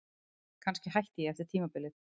Kannski hætti ég eftir tímabilið.